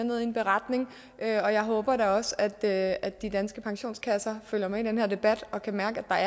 med i en beretning og jeg håber da også at at de danske pensionskasser følger med i den her debat og kan mærke at der